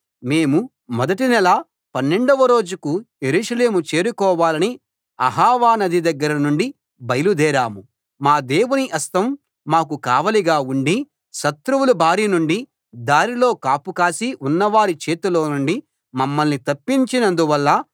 మేము మొదటి నెల 12 వ రోజుకు యెరూషలేము చేరుకోవాలని అహవా నది దగ్గర నుండి బయలుదేరాం మా దేవుని హస్తం మాకు కావలిగా ఉండి శత్రువుల బారి నుండి దారిలో కాపు కాసి ఉన్నవారి చేతిలో నుండి మమ్మల్ని తప్పించినందువల్ల